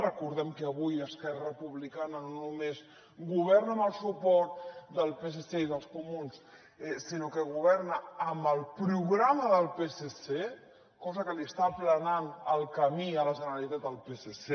recordem que avui esquerra republicana no només governa amb el suport del psc i dels comuns sinó que governa amb el programa del psc cosa que li està aplanant el camí a la generalitat al psc